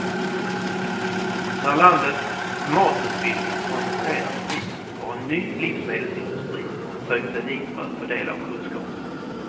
När landets matutbildning koncentrerats hit har en ny livsmedelsindustri sökt sig dit för att få del av kunskapen.